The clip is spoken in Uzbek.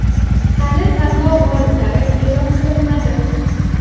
Hali tanlov g‘oliblari e’lon qilinmadi.